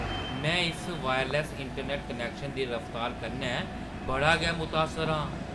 में इस wireless internet connection दी रफ्तार कन्नै बड़ा गै मुतासर आं।